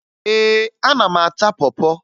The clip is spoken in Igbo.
Ee, ana m ata pọ pọ